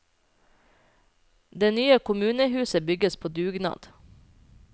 Det nye kommunehuset bygges på dugnad.